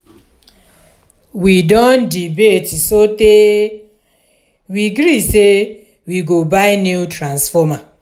we don debate sotee we gree sey we go buy new transformer.